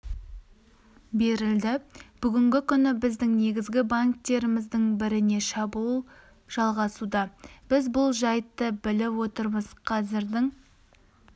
берілді бүгінгі күні біздің негізгі банктеріміздің біріне шабуыл жалғасуда біз бұл жайтты біліп отырмыз қазірдің